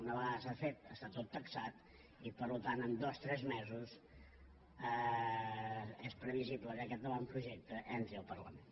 una vegada s’ha fet està tot taxat i per tant en dos tres mesos és previsible que aquest avantprojecte entri al parlament